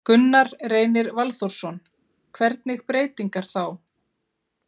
Gunnar Reynir Valþórsson: Hvernig breytingar þá?